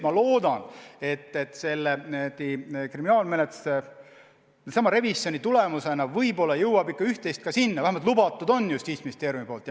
Ma loodan, et selle kriminaalmenetluse revisjoni tulemusena võib-olla jõuab ikka üht-teist ka eelnõusse, vähemalt Justiitsministeerium on seda lubanud.